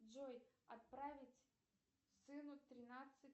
джой отправить сыну тринадцать